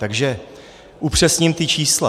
Takže upřesním ta čísla.